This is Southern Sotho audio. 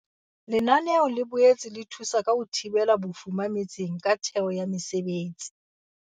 Lenaneo le boetse le thusa ka ho thibela bofuma metseng ka theho ya mesebetsi.